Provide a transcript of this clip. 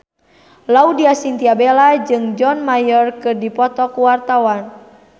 Laudya Chintya Bella jeung John Mayer keur dipoto ku wartawan